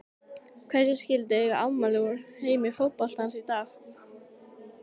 Hverjir skyldu eiga afmæli úr heimi fótboltans í dag?